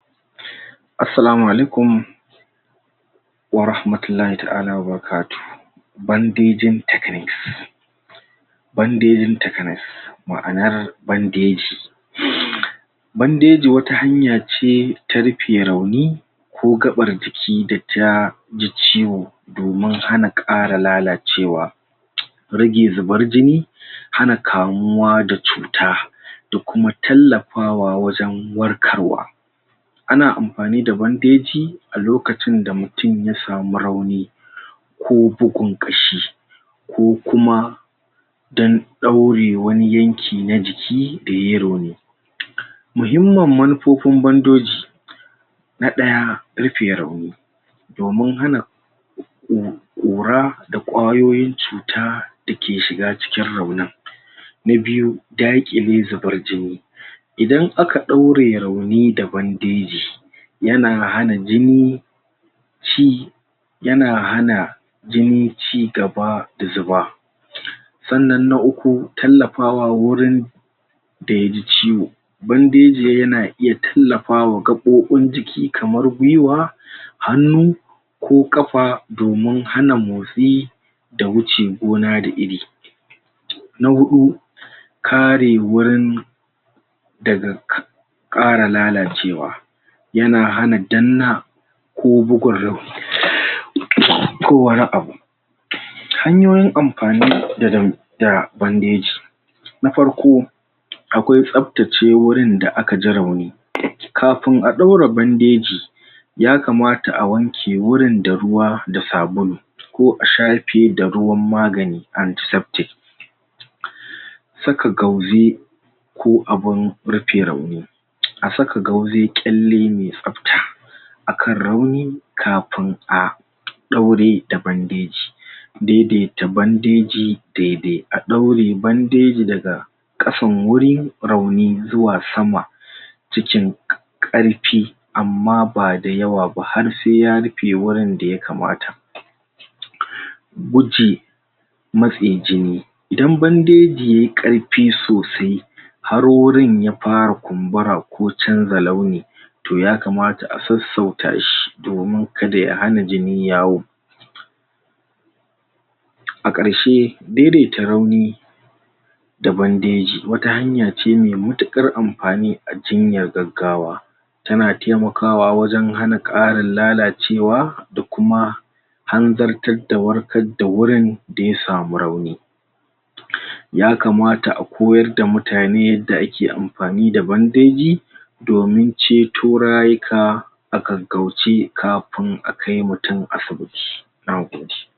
Assalamu alaikum warahmatullahi ta'ala wa barakatuhu bandejin technics bandejin technics ma'ana bandeji bandeji wata hanya ce ta rufe rauni ko gaɓar jiki da ta ji ciwo domin hana ƙara lalacewa rage zubar jini hana kamuwa da cuta da kuma tallafawa wajen warkarwa ana amfani da bandeji a lokacin da mutun ya samu rauni ko bugun ƙashi ko kuma dan ɗaure wani yanki na jiki da yayi rauni muhimmin manufofin bandoji na ɗaya rufe rauni domin hana ƙura da ƙwayoyin cuta da ke shiga cikin raunin na biyu, daƙile zubar jini idan aka ɗaure rauni da bandeji yana hana jini ci yana hana jini cigaba da zuba sannan na uku tallafawa wurin da ya ji ciwo bandeji yana iya tallafawa gaɓoɓin jiki kamar gwuiwa hannu ko ƙafa domin hana motsi da wuce gona da iri na huɗu, kare wurin daga ƙara lalacewa yana hana danna ko bugawa ko wani abu hanyoyin amfani da bandeji na farko, akwai tsabtace wurin da aka ji rauni kafin a ɗaura bandeji yakamata a wanke wurin da ruwa da sabulu ko a shafe da ruwan magani anti-septic saka gauzi ko abin rufe rauni a saka gauzi ƙalle mai tsabta a kan rauni kafin a ɗaure da bandeji daidaita bandeji daidai a ɗaure bandeji daga ƙasan wuri rauni zuwa sama cikin ƙarfi amma ba da yawa ba har sai ya rufe wurin da yakamata wuce matse jini, idan bandeji yayi ƙarfi sosai har wurin ya fara kumbura ko canza launi to yakamata a sassauta shi domin kada ya hana jini yawo a ƙarshe daidaita rauni da bandeji wata hanya ce mai matuƙar amfani a jinyar gaggawa tana taimakawa wajen hana ƙarin lalacewa da kuma har zartar da warkar da wurin da ya samu rauni yakamata a koyar da mutane yadda ake amfani da bandeji domin ceto rayuka a gaggauce kafin akai mutun asibiti. Na gode.